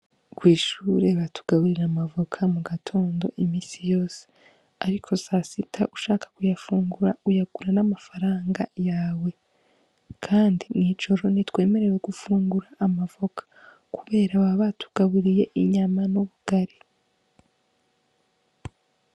Kw'ishure batugaburira amavoka mu gatondo imisi yose, ariko sa sita ushaka kuyafungura uyagura n'amafaranga yawe, kandi mw'ijoro ni twemerewe gufungura amavoka, kubera aba batugaburiye inyama n'ubugari.